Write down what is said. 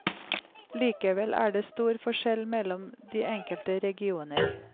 Likevel er det stor forskjell mellom de enkelte regioner.